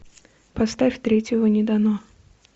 поставь третьего не дано